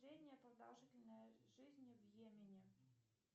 средняя продолжительность жизни в йемене